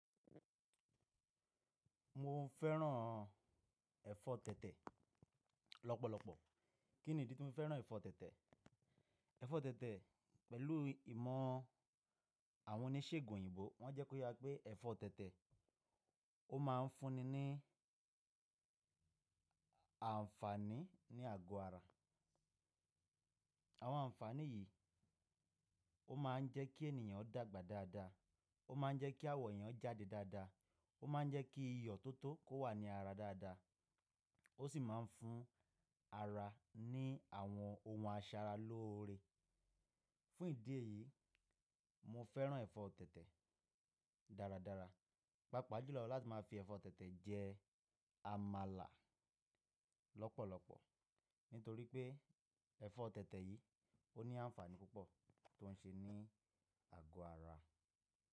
Mo ń fẹ́ràn ẹ̀fọ́ tẹ̀tẹ̀ lọ́pọ̀lọpọ̀. Kí ni ìdí tí mo fẹ́ràn ẹ̀fọ́ tẹ̀tẹ̀? Ẹ̀fọ́ tẹ̀tẹ̀ pẹ̀lú ìmọ̀ àwọn oníṣègùn òyìnbó, wọ́n jẹ́ kó ye wa pé ẹ̀fọ́ tẹ̀tẹ̀ ó máa ń fúnni ní àǹfààní ní àgọ́ ara. Àwọn àǹfààní yìí ó máa ń jẹ́ kí ènìyàn dàgbà dáadáa, ó máa ń jẹ́ kí awọ̀ ènìyàn jáde dáadáa, ó máa ń jẹ́ kí iyọ̀ tó tó kó wà ní ara dáadáa, ó sì máa ń fún ara ní àwọn ohun asara lóore. Fún ìdí èyí, mo fẹ́ràn ẹ̀fọ́ tẹ̀tẹ̀ dáradára. Pápa jùlọ láti máa fi ẹ̀fọ́ tẹ̀tẹ̀ jẹ àmàlà lọ́pọ̀lọpọ̀ nítorí pé ẹ̀fọ́ tẹ̀tẹ̀ yìí ó ní àǹfààní púpọ̀ tó ń ṣe ní àgọ́ ara.